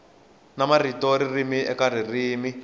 na ntivo ririmi eka ririmi